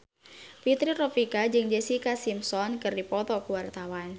Fitri Tropika jeung Jessica Simpson keur dipoto ku wartawan